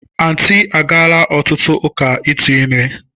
Aunty agaala otutu uka itu ime.